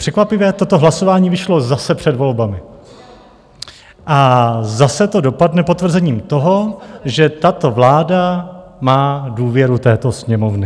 Překvapivě toto hlasování vyšlo zase před volbami a zase to dopadne potvrzením toho, že tato vláda má důvěru této Sněmovny.